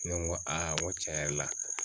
Ne ko n ko tiɲɛ yɛrɛ la.